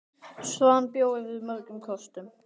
Svan bjó yfir mörgum kostum.